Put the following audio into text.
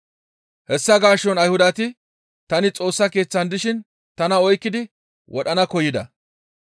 Hessa gaason Ayhudati tani Xoossa Keeththan dishin tana oykkidi wodhana koyida.